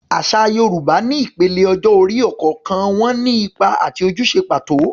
Àṣà Yorùbá ní ìpele ọjọ́ orí, ọ̀kọ̀ọ̀kan wọn ní ipa àti ojúṣe pàtó.